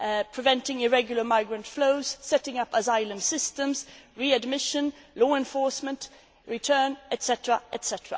migration, preventing irregular migrant flows, setting up asylum systems, readmission, law enforcement, return,